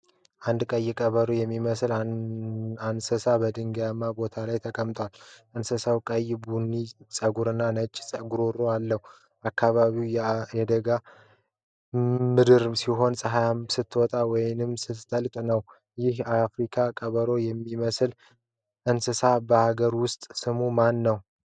አንድ ቀይ ቀበሮ የሚመስል እንስሳ በድንጋያማ ቦታ ላይ ተቀምጧል። እንስሳው ቀይ ቡኒ ፀጉርና ነጭ ጉሮሮ አለው። አካባቢው የደጋ ምድር ሲሆን ፀሐይ ስትወጣ ወይም ስትጠልቅ ነው። ይህ የአፍሪካ ቀበሮ የሚመስል እንስሳ በአገር ውስጥ ስሙ ማን ነው?